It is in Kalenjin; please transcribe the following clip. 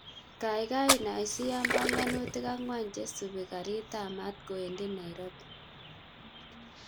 Kagaigai inasyiyan panganutik angwan chesupe karit ap maat kowendi nairobi